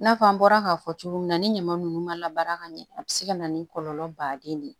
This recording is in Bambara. I n'a fɔ an bɔra k'a fɔ cogo min na ni ɲama ninnu ma ka ɲɛ a bɛ se ka na ni kɔlɔlɔ baden ye